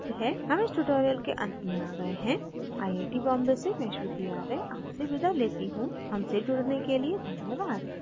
हम इस tutorial के अंत में आ गए हैं आई आई we बॉम्बे से मैं श्रुति आर्य आपसे विदा लेती हूँ हमसे जुड़ने के लिए धन्यवाद